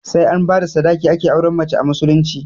Sai an bada sadaki ake aurar da mace a musulunci